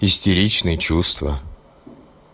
истеричные чувства